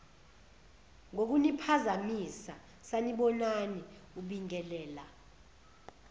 ngokuniphazamisa sanibonani ubingelela